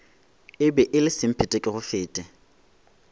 e be e le semphetekegofete